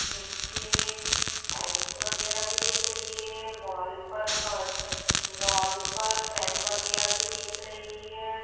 नीचे टाइल्स वगैरह भी दिख रही है वॉल पर फर वॉल पर फ्रेम वगैरह भी दिख रही है।